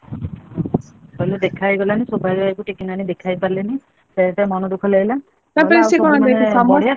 ଦେଖା ହେଇଗଲାନି, ସୌଭାଗ୍ୟ ଭାଇକୁ ଟିକି ନାନୀ ଦେଖା ହେଇ ପାରିଲେନି। ସେଥିପାଇଁ ଟିକେ ମନ ଦୁଃଖ ଲାଗିଲା।